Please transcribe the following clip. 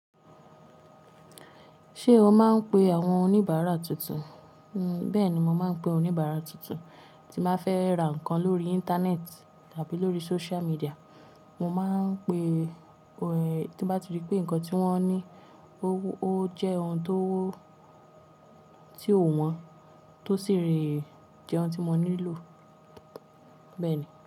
Ṣé o máa ń pe àwọn oníbàárà tuntun? Bẹ́ẹ̀ni, mo máa ń pe oníbàárà tuntun tí bá fẹ́ ra nǹkan lórí Íńtánẹ́ẹ̀tì tàbí lórí sóciál míḍíà. Mo máa ń pe, tí bá ti rí pé nǹkan tí wọ́n ní ó jẹ́ ohun tó, tí ò wọ́n tó sì rí i jẹ ohun tí mo nílò bẹ́ẹ̀ni.